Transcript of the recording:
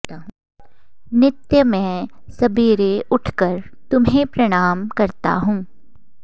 नित्य मैं सबेरे उठ कर तुम्हें प्रणाम करता हूँ